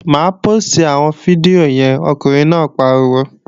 Má póòstì àwọn fídíò yẹn, ọkùnrin náà pariwo!